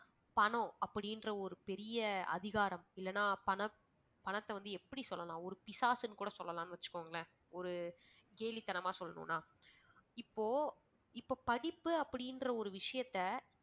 பணம் அப்படின்ற ஒரு பெரிய அதிகாரம் இல்லனா பணம் பணத்தை வந்து எப்படி சொல்லலாம் ஒரு பிசாசுன்னு கூட சொல்லலாம்னு வெச்சுக்கோங்களேன். ஒரு கேலித்தனமா சொல்லணும்னா இப்போ இப்ப படிப்பு அப்படின்ற ஒரு விஷயத்தை